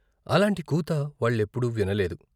అలాంటి కూత వాళ్ళెప్పుడూ వినలేదు.